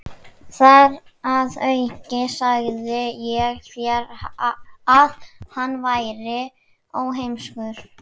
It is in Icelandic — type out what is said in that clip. Þar að auki sagði ég þér, að hann væri óheimskur.